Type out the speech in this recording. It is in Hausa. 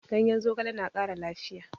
Ganyen zogale na ƙara lafiya